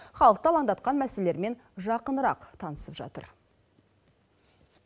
халықты алаңдатқан мәселелермен жақынырақ танысып жатыр